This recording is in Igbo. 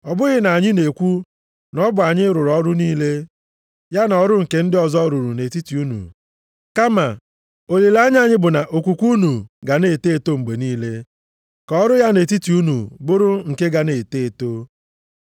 Ọ bụghị na anyị na-ekwu na ọ bụ anyị rụrụ ọrụ niile, ya na ọrụ nke ndị ọzọ rụrụ nʼetiti unu, kama olileanya anyị bụ na okwukwe unu ga na-eto eto mgbe niile, ka ọrụ ya nʼetiti unu bụrụ nke ga-eto eto.